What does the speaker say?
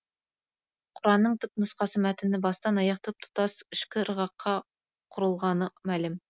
құранның түп нұсқа мәтіні бастан аяқ тұп тұтас ішкі ырғаққа құрылғаны мәлім